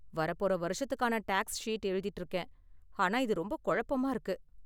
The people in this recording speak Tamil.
வரப்போற வருஷத்துக்கான டேக்ஸ் ஷீட் எழுதிட்டு இருக்கேன், ஆனா இது ரொம்ப குழப்பமா இருக்கு.